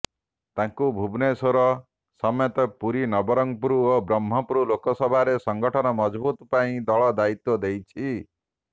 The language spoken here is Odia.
ତାଙ୍କୁ ଭୁବନେଶ୍ୱର ସମେତ ପୁରୀ ନବରଙ୍ଗପୁର ଓ ବ୍ରହ୍ମପୁର ଲୋକସଭାରେ ସଂଗଠନ ମଜବୁତ ପାଇଁ ଦଳ ଦାୟିତ୍ୱ ଦେଇଛି